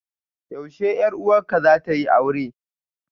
Yaushe 'yar uwarka zata yi aure?